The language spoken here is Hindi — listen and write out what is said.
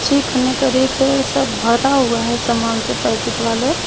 चिकन करी के भरा हुआ है सामान से पैकेट वाले।